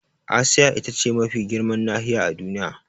Asiya ita ce mafi girman nahiya a Duniya.